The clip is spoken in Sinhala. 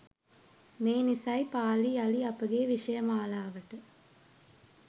මේ නිසයි පාලි යළි අපගේ විෂය මාලාවට